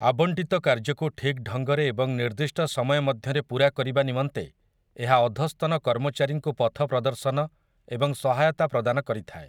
ଆବଣ୍ଟିତ କାର୍ଯ୍ୟକୁ ଠିକ୍ ଢଙ୍ଗରେ ଏବଂ ନିର୍ଦ୍ଦିଷ୍ଟ ସମୟ ମଧ୍ୟରେ ପୂରା କରିବା ନିମନ୍ତେ ଏହା ଅଧସ୍ତନ କର୍ମଚାରୀଙ୍କୁ ପଥ ପ୍ରଦର୍ଶନ ଏବଂ ସହାୟତା ପ୍ରଦାନ କରିଥାଏ ।